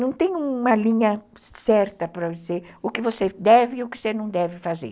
Não tem uma linha certa para dizer o que você deve e o que você não deve fazer.